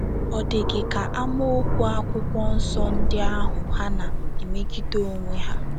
Ọ̀ dị gị ka amaokwu akwụkwọ nsọ ndị ahụ hà na - emegide onwe ha?